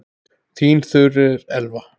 Þín Þuríður Elva.